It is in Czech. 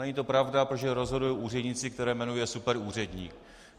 Není to pravda, protože rozhodují úředníci, které jmenuje superúředník.